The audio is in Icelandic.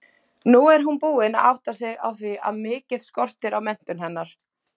Nú er hún búin að átta sig á því að mikið skortir á menntun hennar.